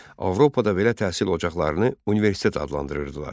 Avropada belə təhsil ocaqlarını universitet adlandırırdılar.